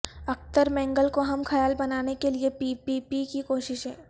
اختر مینگل کو ہم خیال بنانے کے لیے پی پی پی کی کوششیں